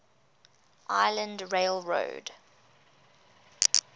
island rail road